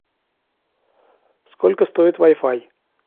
сколько стоит вай фай